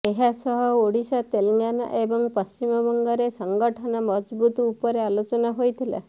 ଏହାସହ ଓଡ଼ିଶା ତେଲେଙ୍ଗାନା ଏବଂ ପଶ୍ଚିମବଙ୍ଗରେ ସଙ୍ଗଠନ ମଜଭୁତ ଉପରେ ଆଲୋଚନା ହୋଇଥିଲା